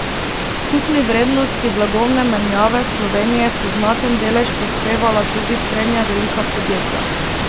K skupni vrednosti blagovne menjave Slovenije so znaten delež prispevala tudi srednje velika podjetja.